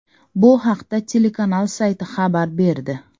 Bu haqda telekanal sayti xabar berdi.